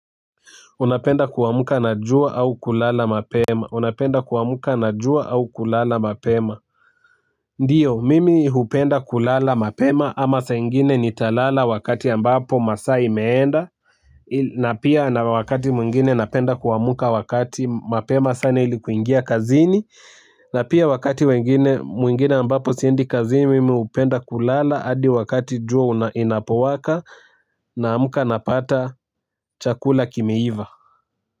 Unapenda kuwamka na jua au, kulala mapema? Ndio mimi hupenda kulala mapema ama saa ingine nitalala wakati ambapo masaa imeenda, na pia, na wakati mwingine napenda kuwamka wakati mapema sana ili kuingia kazini, na pia wakati wengine mwingine ambapo siendi kazini, mimi hupenda kulala hadi wakati jua inapowaka na amka napata, chakula kimeiva.